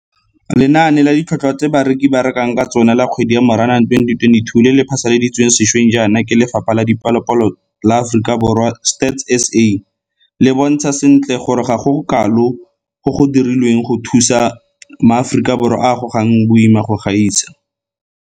Lenane la Ditlhotlhwa tse Bareki ba Rekang ka Tsona la Kgwedi ya Moranang 2022 le le phasaladitsweng sešweng jaana ke Lefapha la Dipalopalo la Aforika Borwa Stats SA le bontsha sentle gore ga go gokalo go go dirilweng go thusa maAforika Borwa a a gogang boima go gaisa.